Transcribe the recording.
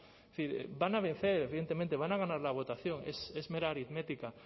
es decir van a vencer evidentemente van a ganar la votación es mera aritmética